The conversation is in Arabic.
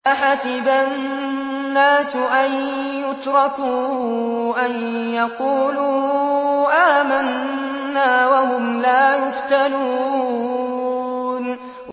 أَحَسِبَ النَّاسُ أَن يُتْرَكُوا أَن يَقُولُوا آمَنَّا وَهُمْ لَا يُفْتَنُونَ